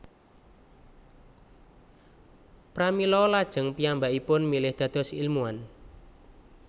Pramila lajeng piyambakipun milih dados ilmuwan